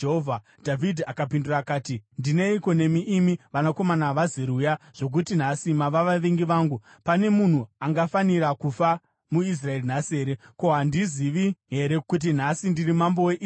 Dhavhidhi akapindura akati, “Ndineiko nemi, imi vanakomana vaZeruya zvokuti nhasi mava vavengi vangu! Pane munhu angafanira kufa muIsraeri nhasi here? Ko, handizivi here kuti nhasi ndiri mambo weIsraeri?”